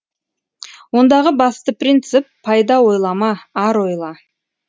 ондағы басты принцип пайда ойлама ар ойла